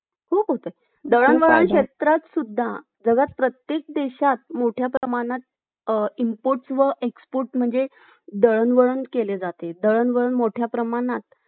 अशा अनेक घडामोडी इतिहासात घडलेल्या दिसतात त्यावरून इतिहास आणि भूगोल यांचे नाते अतूट असते हे स्पष्ट होते भारतीय भौगोलिक वैशिष्ट्ये